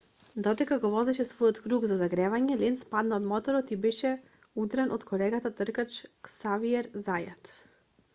додека го возеше својот круг за загревање ленц падна од моторот и беше удрен од колегата тркач ксавиер зајат